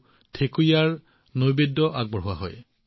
ছট মাইয়াৰ পূজাত বিভিন্ন ফল আৰু থেকুৱা আগবঢ়োৱা হয়